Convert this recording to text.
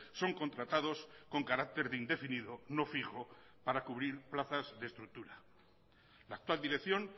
son contratados con carácter de indefinido no fijo para cubrir plazas de estructura la actual dirección